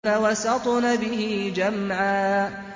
فَوَسَطْنَ بِهِ جَمْعًا